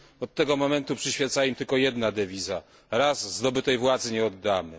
Od tego momentu przyświeca im tylko jedna dewiza raz zdobytej władzy nie oddamy.